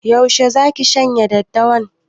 Yaushe zaki shanya daddawan?